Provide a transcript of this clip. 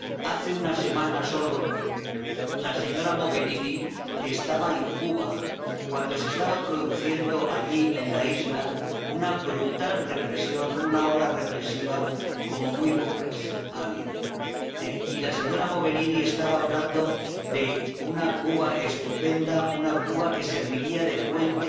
Hace una semana solo, la señora Mogherini estaba en Cuba, cuando se estaba produciendo allí, en la isla, una brutal represión, una ola represiva como muy pocas ha habido. Y la señora Mogherini estaba hablando de una Cuba estupenda, una Cuba que serviría de puente